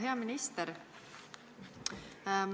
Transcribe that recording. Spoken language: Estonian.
Hea minister!